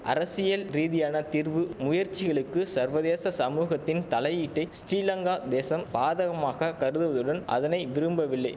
அரசியல் ரீதியான தீர்வு முயற்சிகளுக்கு சர்வதேச சமூகத்தின் தலையீட்டை ஸ்டிலங்கா தேசம் பாதகமாக கருதுவதுடன் அதனை விரும்பவில்லை